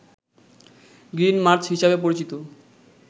green march হিসাবে পরিচিত